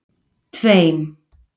tveim